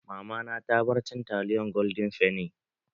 Mamana ta bar cin taliyan golden fenny.